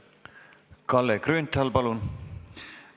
Kalle Grünthal, palun!